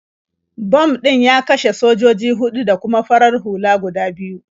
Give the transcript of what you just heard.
Bam ɗin ya kashe sojoji huɗu da kuma farar hula guda biyu.